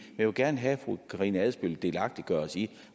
jeg vil gerne have at fru karina adsbøl delagtiggør os i